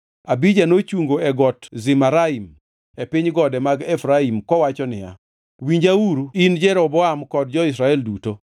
Abija nochungo e Got Zemaraim e piny gode mag Efraim kowacho niya, “Winjauru in Jeroboam kod jo-Israel duto!